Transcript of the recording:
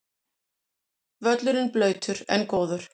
Völlurinn blautur en góður